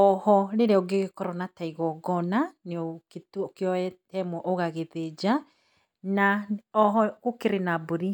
Oho rĩrĩa ũngĩgĩkorwo na ta igongona, no ũkĩoye ĩmwe ũgagĩthĩnja, na oho gũkĩrĩ na mbũri